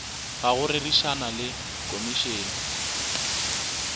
ga go rerišana le komišene